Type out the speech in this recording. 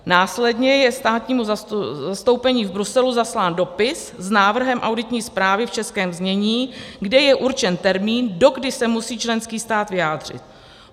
Následně je státnímu zastoupení v Bruselu zaslán dopis s návrhem auditní zprávy v českém znění, kde je určen termín, dokdy se musí členský stát vyjádřit.